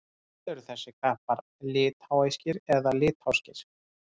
Hvort eru þessir kappar litháískir eða litháskir?